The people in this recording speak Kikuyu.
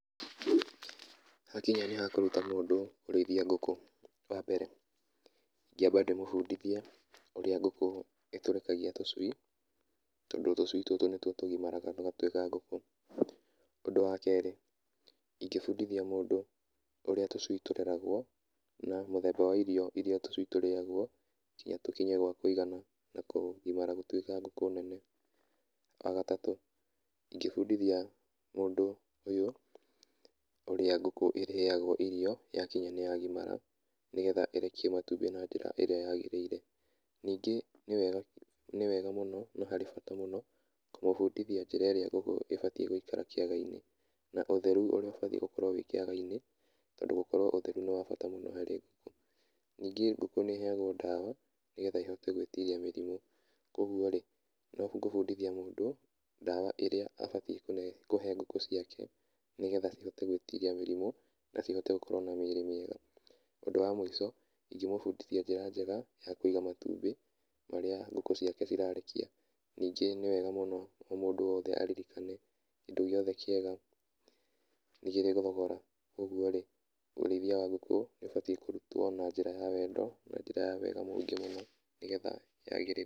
Hakinya nĩ hakũruta mũndũ kũrĩithia ngũkũ, wa mbere ingĩamba ndĩmũbundithie ũrĩa ngũkũ ĩtũrĩkagia tũcui tondũ tũcui tũtũ nĩtuo tũgimaraga tũgatuĩka ngũkũ, ũndũ wa kerĩ ingĩbundithia mũndũ ũrĩa tũcui tũreragwo na mũthemba wa irio irĩa tũcui tũrĩaga nĩgetha tũkinye gwa kũigana na kũgimara gũtuĩka ngũkũ nene. Wa gatatũ ingĩbundithia mũndũ ũyũ ũrĩa ngũkũ ĩrĩaga irio yakinya nĩ yagimara nĩgetha ĩrekie matumbĩ na njĩra ĩrĩa yagĩrĩire. Ningĩ nĩ wega mũno na harĩ bata mũno kũmũbundithia njĩra ĩrĩa ngũkũ ĩbatiĩ gũikara kĩaga-inĩ na ũtheru ũrĩa ũbatiĩ gũkorwo wĩ kĩaga-inĩ tondũ gũkorwo ũtheru nĩ wa bata mũno harĩ ngũkũ. Ningĩ ngũkũ nĩ ĩheagwo dawa nĩgetha ĩhote gwĩtiria mĩrimũ, kũguo-rĩ, nĩ gũbundithia mũndũ, dawa ĩrĩa abatiĩ kũhe ngũkũ ciake nĩgetha cihote gwĩtiria mĩrimũ na cihote gũkorwo na mĩrĩ mĩega. Ũndũ wa mũico, ingĩmũbundithia njĩra njega ya kũiga matumbĩ marĩa ngũkũ ciake cirarekia. Ningĩ nĩ wega mũno o mũndũ wothe aririkane kĩndũ gĩothe kĩega nĩ kĩrĩ thogora ũguo-rĩ, ũrĩithia wa ngũkũ nĩ ũbatiĩ kũrutwo na njĩra ya wendo na njĩra ya wega mũingĩ mũno nĩgetha yagĩrĩre.